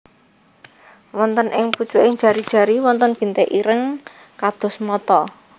Wonten ing pucuking jari jari wonten bintik ireng kados mata